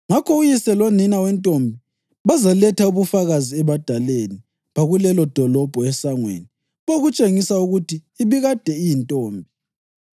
ngakho uyise lonina wentombi bazaletha ubufakazi ebadaleni bakulelodolobho esangweni bokutshengisa ukuthi ibikade iyintombi.